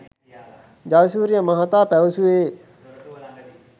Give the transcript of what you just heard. ජයසූරිය මහතා පැවසූයේ